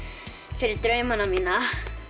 fyrir draumana mína